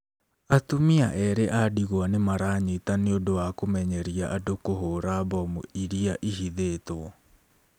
Atumia erĩ a ndigwa nĩ maranyita nĩ ũndũ wa kũmenyeria andũ kũhũũra mbomu iria ihithĩtwo.